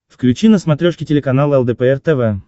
включи на смотрешке телеканал лдпр тв